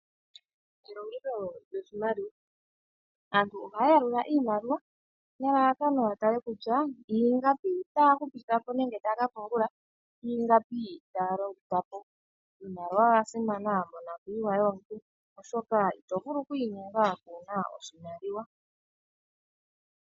Elongitho lyoshimaliwa aantu ohaya yalula iimaliwa nelalakano ya tale kutya ingapi taya hupithapo nenge taya kapo ongula niingapi taya longitha po. Iimaliwa oya simana monokuyiwa yomuntu oshoka ito vulu oku inyenga kuna oshimaliwa.